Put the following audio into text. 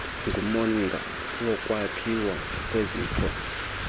ngumongo wokwakhiwa kweziko